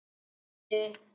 Róselía, hækkaðu í græjunum.